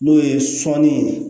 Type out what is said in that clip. N'o ye sɔnni ye